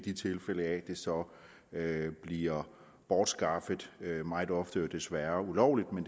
i tilfælde af at det så bliver bortskaffet meget ofte desværre ulovligt men